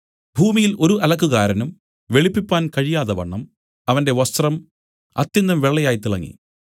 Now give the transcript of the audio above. ഭൂമിയിൽ ഒരു അലക്കുകാരനും വെളുപ്പിപ്പാൻ കഴിയാതവണ്ണം അവന്റെ വസ്ത്രം അത്യന്തം വെള്ളയായി തിളങ്ങി